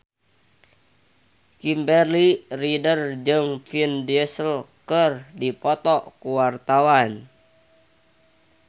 Kimberly Ryder jeung Vin Diesel keur dipoto ku wartawan